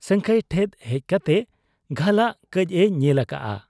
ᱥᱟᱹᱝᱠᱷᱟᱹᱭ ᱴᱷᱮᱫ ᱦᱮᱡ ᱠᱟᱛᱮ ᱜᱷᱟᱹᱞᱟᱜ ᱠᱟᱹᱡ ᱮ ᱧᱮᱞ ᱟᱠᱟᱜ ᱟ ᱾